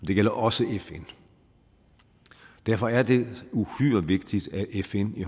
det gælder også fn derfor er det uhyre vigtigt at fn i